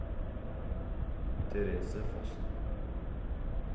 Therese Fossen